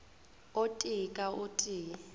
o tee ka o tee